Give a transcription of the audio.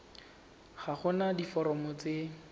ga go na diforomo tse